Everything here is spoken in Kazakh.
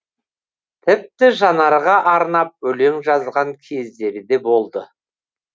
тіпті жанарға арнап өлең жазған кездері де болды